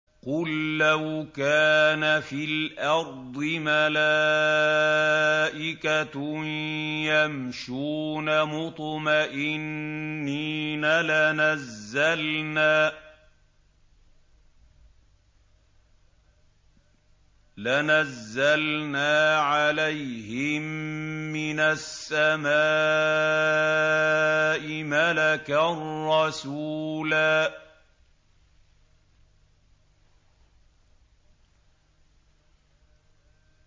قُل لَّوْ كَانَ فِي الْأَرْضِ مَلَائِكَةٌ يَمْشُونَ مُطْمَئِنِّينَ لَنَزَّلْنَا عَلَيْهِم مِّنَ السَّمَاءِ مَلَكًا رَّسُولًا